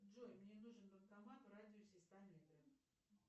джой мне нужен банкомат в радиусе ста метров